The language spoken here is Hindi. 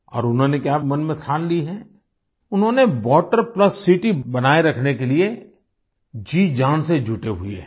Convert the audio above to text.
और उन्होंने क्या मन में ठान ली है उन्होंने वाटर प्लस सिटी बनाए रखने के लिए जी जान से जुटे हुए है